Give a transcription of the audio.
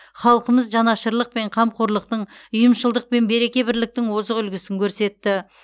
халқымыз жанашырлық пен қамқорлықтың ұйымшылдық пен береке бірліктің озық үлгісін көрсетті